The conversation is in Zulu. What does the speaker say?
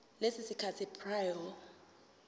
leso sikhathi prior